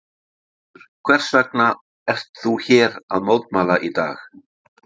Þórhildur: Hvers vegna ert þú hérna að mótmæla í dag?